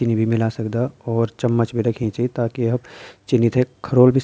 चिन्नी भी मिलै सकदा और चम्मच भी रखीं च ताकि आप चिन्नी थे खारोल भी --